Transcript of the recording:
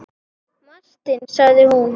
Martin sagði hún.